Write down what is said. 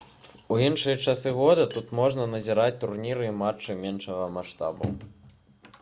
у іншыя часы года тут можна назіраць турніры і матчы меншага маштабу